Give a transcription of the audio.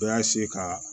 Bɛɛ y'a ka